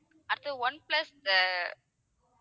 அடுத்தது, ஒன்பிளஸ் அஹ்